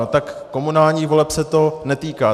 No tak komunálních voleb se to netýká.